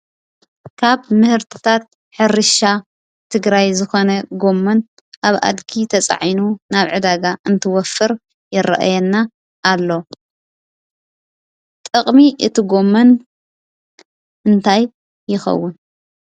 ካብ ምህርትታት ሕርሻ ትግራይ ዝኮነ ጎሞን ኣብ ኣድጊ ተፃዒኑ ናብ ዕዳጋ እንትወፍር ይረአየና ኣሎ፡፡ ጥቅሚ እቲ ጎሞን እንታይ ይከውን?